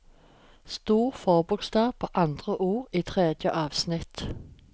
Stor forbokstav på andre ord i tredje avsnitt